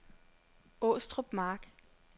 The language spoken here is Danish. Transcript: Åstrup Mark